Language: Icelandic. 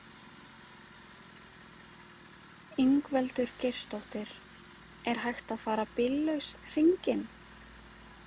Ingveldur Geirsdóttir: Er hægt að fara bíllaus hringinn?